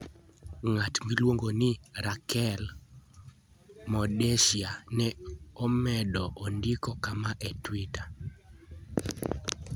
Ng'at miluongo ni Rachel Mordecai ne omedo ondiko kama e Twitter: